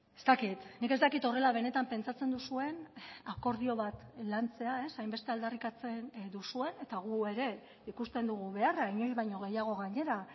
ez dakit nik ez dakit horrela benetan pentsatzen duzuen akordio bat lantzea hainbeste aldarrikatzen duzuen eta gu ere ikusten dugu beharra inoiz baino gehiago gainera